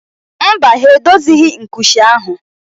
Mba, ha edozighị nkucha ahụ